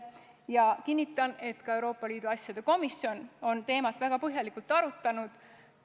Ja kinnitan, et ka Euroopa Liidu asjade komisjon on seda teemat väga põhjalikult arutanud.